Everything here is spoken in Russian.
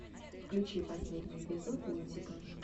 включи последний эпизод лунтика